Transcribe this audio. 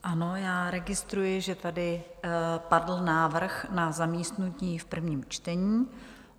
Ano, já registruji, že tady padl návrh na zamítnutí v prvním čtení.